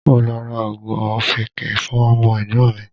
Mo lọ ra oògùn ọ̀fìnkìn fún ọmọ Ẹ̀gbọ́n mi.